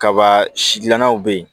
Kaba sidilanw bɛ yen